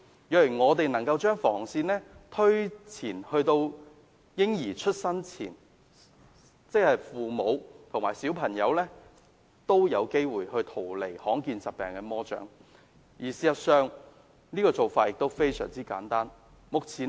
若我們能夠把防線推前至嬰兒出生前便更好，即父母及小朋友均有機會逃離罕見疾病的魔掌，而事實上做法亦非常簡單。